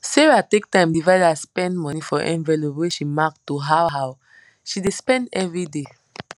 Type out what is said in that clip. sarah take time divide her spend money for envelope wey she mark to how how she dey spend everyday